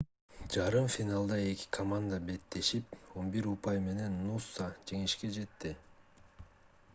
жарым финалда эки команда беттешип 11 упай менен нуса жеңишке жетти